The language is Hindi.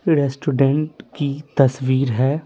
रेस्टोरेंट की तस्वीर है।